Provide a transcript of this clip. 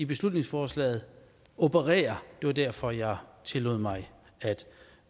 beslutningsforslaget opererer det var derfor jeg tillod mig